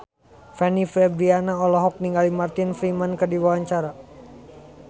Fanny Fabriana olohok ningali Martin Freeman keur diwawancara